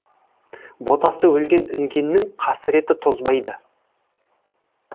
ботасы өлген інгеннің қасіреті тозбайды